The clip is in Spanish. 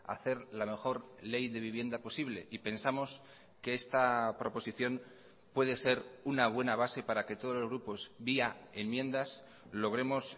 hacer la mejor ley de vivienda posible y pensamos que esta proposición puede ser una buena base para que todos los grupos vía enmiendas logremos